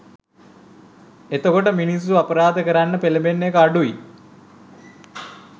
එතකොට මිනිස්සු අපරාධ කරන්න පෙලබෙන එක අඩු වෙයි